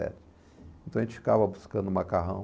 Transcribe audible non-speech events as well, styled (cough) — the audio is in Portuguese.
(unintelligible) Então a gente ficava buscando macarrão.